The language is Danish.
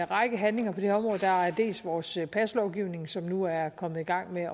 række handlinger på det her område der er dels vores paslovgivning som nu er kommet i gang med at